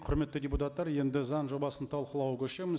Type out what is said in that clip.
құрметті депутаттар енді заң жобасын талқылауға көшеміз